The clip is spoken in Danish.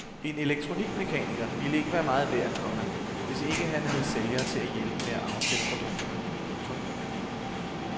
En elektronikmekaniker ville ikke være meget værd, komma hvis ikke han havde sælgere til at hjælpe med at afsætte produkterne. punktum